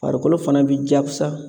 Farikolo fana b'i jakusa